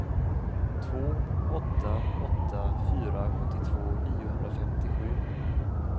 två åtta åtta fyra sjuttiotvå niohundrafemtiosju